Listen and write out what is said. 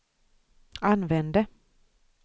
använde